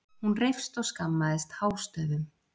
Hún reifst og skammaðist hástöfum.